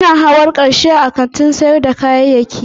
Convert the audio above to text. Muna hawan karshe a kantin sayar da kayayyaki